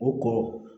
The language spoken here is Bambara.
U ko